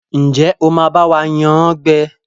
Njé o má ba wa yán gbé?